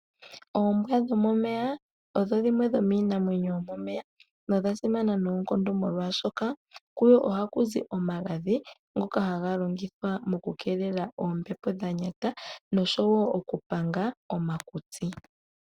Oombwa dhomomeya odho dhimwe dhomiinamwenyo yomomeya, nodha simana noonkondo molwaashoka, kudho ohaku zi omagadhi, ngoka haga longithwa oku keelela oombepo dhanyata, noshowo okupanga omakutsi.